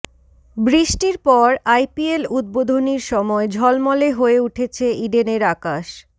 বৃষ্টির পর আইপিএল উদ্বোধনীর সময় ঝলমলে হয়ে উঠেছে ইডেনের আকাশ